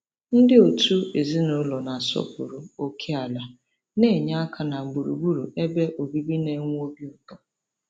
Ndị òtù ezinụlọ na-asọpụrụ ókèala na-enye aka na gburugburu ebe obibi na-enwe obi ụtọ.